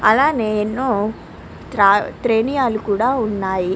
అలానే ఎన్నో త్రేనియాలు కూడా ఉన్నాయి.